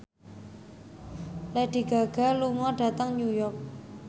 Lady Gaga lunga dhateng New York